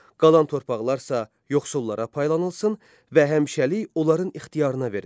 Qalan torpaqlar isə yoxsullara paylanılsın və həmişəlik onların ixtiyarına verilsin.